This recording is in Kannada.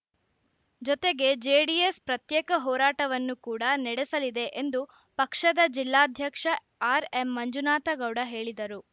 ಜೊತೆಗೆ ಜೆಡಿಎಸ್‌ ಪ್ರತ್ಯೇಕ ಹೋರಾಟವನ್ನು ಕೂಡ ನಡೆಸಲಿದೆ ಎಂದು ಪಕ್ಷದ ಜಿಲ್ಲಾಧ್ಯಕ್ಷ ಆರ್‌ಎಂ ಮಂಜುನಾಥ ಗೌಡ ಹೇಳಿದರು